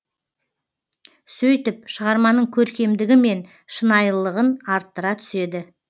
сөйтіп шығарманың көркемдігі мен шынайылығын арттыра түседі